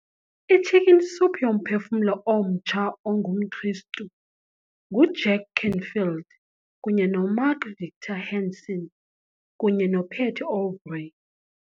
I-Chicken Soup yoMphefumlo oMtsha ongumKristu nguJack Canfield kunye noMark Victor Hansen kunye noPatty Aubery